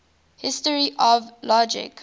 history of logic